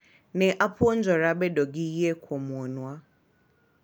Ne apuonjora bedo gi yie kuom wuonwa.